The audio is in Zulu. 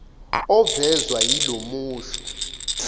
ovezwa yilo musho